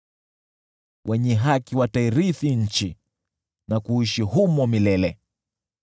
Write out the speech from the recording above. Wenye haki watairithi nchi, na kuishi humo milele.